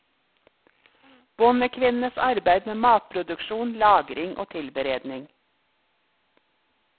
Bondekvinnenes arbeid med matproduksjon, lagring, og tilberedning.